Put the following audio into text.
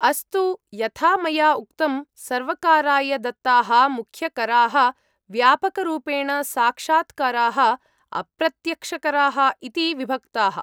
अस्तु, यथा मया उक्तं, सर्वकाराय दत्ताः मुख्यकराः व्यापकरूपेण साक्षात्कराः, अप्रत्यक्षकराः इति विभक्ताः।